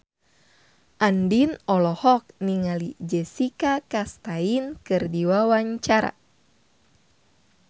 Andien olohok ningali Jessica Chastain keur diwawancara